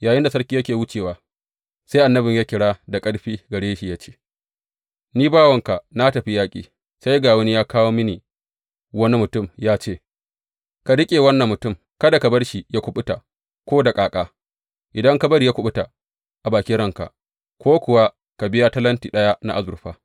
Yayinda sarki yake wucewa, sai annabin ya yi kira da ƙarfi gare shi ya ce Ni bawanka na tafi yaƙi, sai ga wani ya kawo mini wani mutum, ya ce, Ka riƙe wannan mutum, kada ka bar shi yă kuɓuta ko da ƙaƙa, idan ka bari ya kuɓuta, a bakin ranka, ko kuwa ka biya talanti ɗaya na azurfa.’